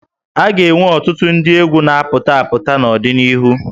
A ga-enwe ọtụtụ ndị egwú na-apụta apụta n'ọdịnihu